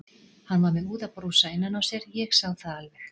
Hann var með úðabrúsa innan á sér, ég sá það alveg.